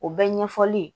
O bɛɛ ɲɛfɔli ye